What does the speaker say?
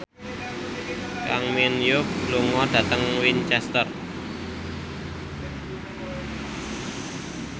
Kang Min Hyuk lunga dhateng Winchester